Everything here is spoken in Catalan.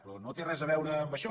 però no té res a veure amb això